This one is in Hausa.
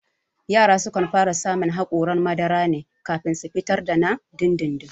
Yara suna fara samun haƙoran madara ne kafin su fitar da na dindindin